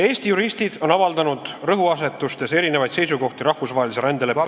Eesti juristid on avaldanud rõhuasetustes erinevaid seisukohti rahvusvahelise rändeleppe ...